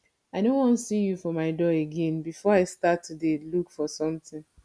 i no wan see you for my door again before i start to dey look for something